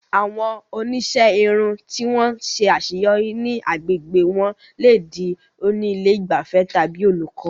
Àwọn oníṣẹ́ irun tí wọ́n ṣe àṣeyọrí ní àgbègbè wọn lè di oní ilé ìgbafẹ́ tàbí olùkọ́.